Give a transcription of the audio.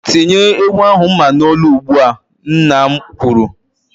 "Tinye ewu ahụ mma n'olu ugbu a!" Nna m kwuru.